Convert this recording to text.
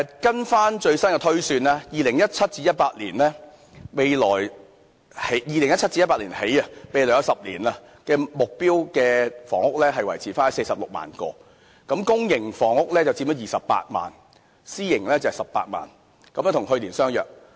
根據最新的推算，自 2017-2018 年度起，未來10年的目標房屋數目維持在46萬個，公營房屋佔了28萬個，私營房屋18萬個，與去年相若。